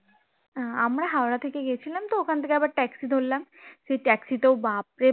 আমরা হাওড়া থেকে গেছিলাম তো ওখান থেকে আবার taxi ধরলাম taxi তেও বাপরে